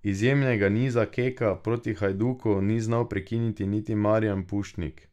Izjemnega niza Keka proti Hajduku ni znal prekiniti niti Marijan Pušnik.